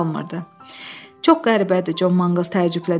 Çox qəribədir, Con Manqls təəccüblə dilləndi.